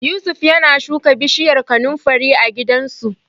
Yusuf yana shuka bishiyar kanunfari a gidansu.